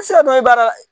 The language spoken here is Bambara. I tɛ se ka dɔn baara la